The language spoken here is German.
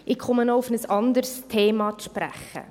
Ich komme noch auf ein anderes Thema zu sprechen: